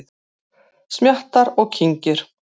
Smjattar og kyngir.